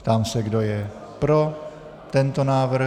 Ptám se, kdo je pro tento návrh.